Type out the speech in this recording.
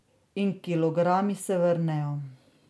In kilogrami se vrnejo.